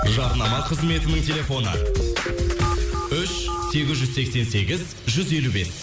жарнама қызметінің телефоны үш сегіз жүз сексен сегіз жүз елу бес